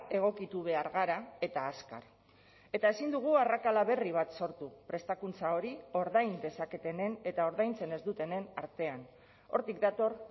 egokitu behar gara eta azkar eta ezin dugu arrakala berri bat sortu prestakuntza hori ordain dezaketenen eta ordaintzen ez dutenen artean hortik dator